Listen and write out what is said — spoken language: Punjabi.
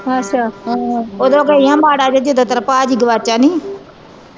ਓਦੋ ਗਈ ਹੀ ਮਾੜਾ ਜਿਹਾ ਜਦੋ ਤੇਰਾ ਭਾਜੀ ਗਵਾਚਾ ਨਹੀਂ ਹੀ